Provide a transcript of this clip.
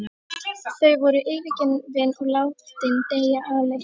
Þau væru yfirgefin og látin deyja alein.